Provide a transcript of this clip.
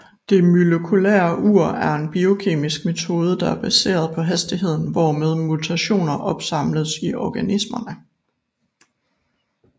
Det molekylære ur er en biokemisk metode der er baseret på hastigheden hvormed mutationer opsamles i organismerne